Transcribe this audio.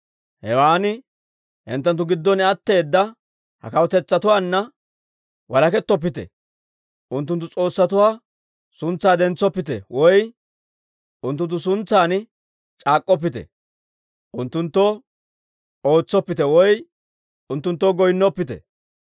Hewan hinttenttu giddon atteeda ha kawutetsatuwaanna walakettoppite. Unttunttu s'oossatuwaa suntsaa dentsoppite woy unttunttu suntsan c'aak'k'oppite. Unttunttoo ootsoppite woy unttunttoo goynnoppite.